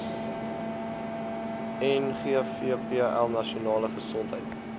ngvpl nasionale gesondheid